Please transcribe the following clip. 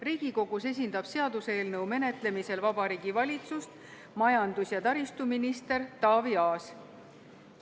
Riigikogus esindab seaduseelnõu menetlemisel Vabariigi Valitsust majandus- ja taristuminister Taavi Aas.